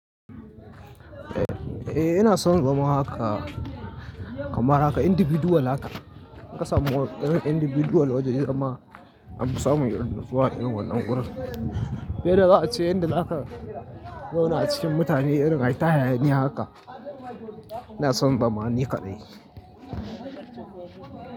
Eh, ina son zama haka kamar haka individual haka. Na fi son moro irin individual wajen girma. Na fi samun yarda zuwa irin wannan wurin. Fiye da za a ce inda haka yana cikin mutane irin ai ta hayaniya haka. Ina son zama ni kaɗai.